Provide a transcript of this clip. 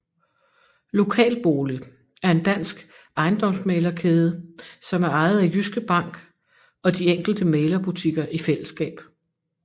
LokalBolig er en dansk ejendomsmæglerkæde som er ejet af Jyske Bank og de enkelte mæglerbutikker i fællesskab